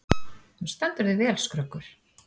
Þú stendur þig vel, Skröggur!